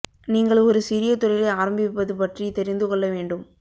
நீங்கள் ஒரு சிறிய தொழிலை ஆரம்பிப்பது பற்றி தெரிந்து கொள்ள வேண்டும்